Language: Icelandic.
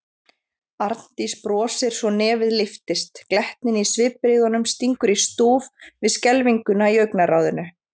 Arndís brosir svo nefið lyftist, glettnin í svipbrigðunum stingur í stúf við skelfinguna í augnaráðinu.